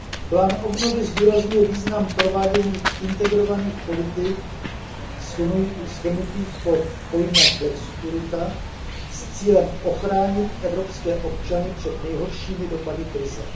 Plán obnovy zdůrazňuje význam provádění integrovaných politik shrnutých pod pojmem flexikurita s cílem ochránit evropské občany před nejhoršími dopady krize.